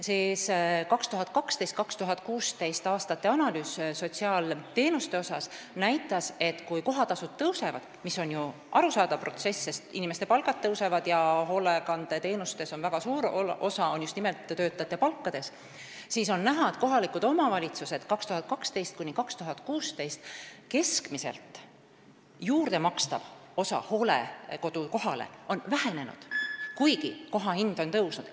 Sotsiaalteenuste analüüs 2012–2016 näitas, et kui hooldekodu kohatasud tõusevad – arusaadav protsess, sest inimeste palgad tõusevad ja hoolekandeteenuste hinnast väga suure osa moodustab töötajate palk –, siis kohalike omavalitsuste keskmiselt juurdemakstav osa hooldekodu kohale on vähenenud, kuigi koha hind on tõusnud.